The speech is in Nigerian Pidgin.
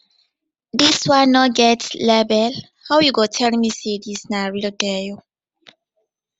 this one no get label how you go tell me say this na real dior